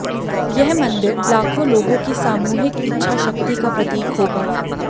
यह मंदिर लाखों लोगों की सामूहिक इच्छा शक्ति का प्रतीक होगा